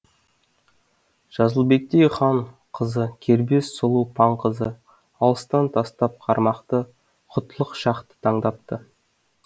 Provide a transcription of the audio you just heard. жазылбектей хан қызы кербез сұлу паң қызы алыстан тастап қармақты хұтлық шахты таңдапты